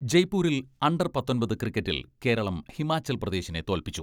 ജയ്പൂരിൽ അണ്ടർ പത്തൊമ്പത് ക്രിക്കറ്റിൽ കേരളം ഹിമാചൽ പ്രദേശിനെ തോൽപ്പിച്ചു.